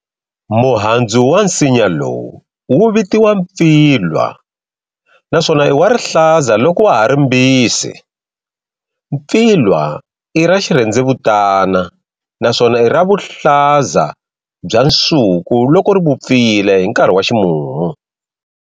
Muhandzu wa nsinya lowu wuvitiwa Pfilwa, naswona i wa ri hlaza loko wa hari mbisi. Pfilwa i ra xirhendzevutana naswona ira vuhlaza bya nsuku loko rivupfile hinkarhi wa ximumu.